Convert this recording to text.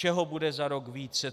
Čeho bude za rok více.